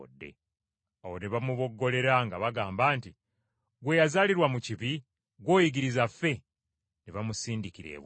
Awo ne bamuboggolera nga bagamba nti, “Ggwe eyazaalirwa mu bibi, ggw’oyigiriza ffe?” Ne bamusindika ebweru.